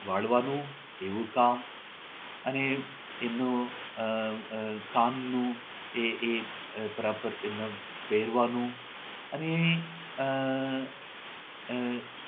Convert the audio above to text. વાળવાનું એવું કામ અને એમનો આહ આહ કામનું એ એ આહ બરાબર એમના પહેરવાનું અને આહ આહ